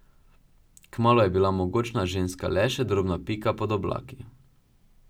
Kmalu je bila mogočna ženska le še drobna pika pod oblaki.